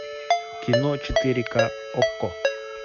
кино четыре ка окко